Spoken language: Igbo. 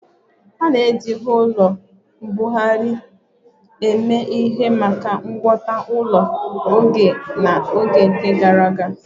A na-eji ụlọ mbuhari eme ihe maka ngwọta ụlọ nwa oge na oge gara aga